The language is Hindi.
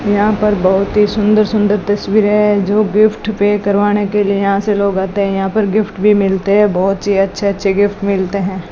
यहां पर बहुत ही सुंदर सुंदर तस्वीरें हैं जो गिफ्ट पे करवाने के लिए यहां से लोग आते हैं यहां पर गिफ्ट भी मिलते है बहोत ही अच्छे अच्छे गिफ्ट भी मिलते हैं।